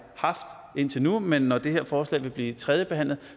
haft indtil nu men når det her forslag vil blive tredjebehandlet